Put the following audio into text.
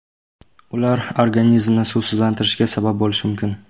Ular organizmni suvsizlanishiga sabab bo‘lishi mumkin.